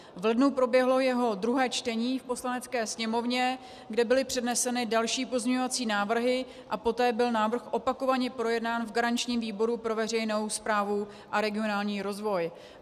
V lednu proběhlo jeho druhé čtení v Poslanecké sněmovně, kde byly předneseny další pozměňovací návrhy, a poté byl návrh opakovaně projednán v garančním výboru pro veřejnou správu a regionální rozvoj.